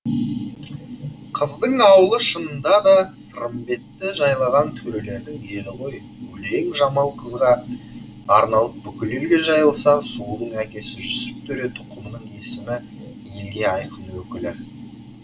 қыздың ауылы шынында да сырымбетті жайлаған төрелердің елі ғой өлең жамал қызға арналып бүкіл елге жайылса сұлудың әкесі жүсіп төре тұқымының есімі елге айқын өкілі